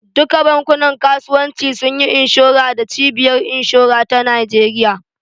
Duka bankunan kasuwanci sunyi inshora da cibiyar inshora ta Nijeriya